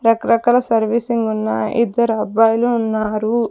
రకరకాల సర్వీసింగ్ ఉన్న ఇద్దరబ్బాయిలు ఉన్నారు.